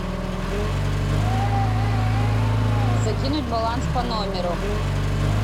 закинуть баланс по номеру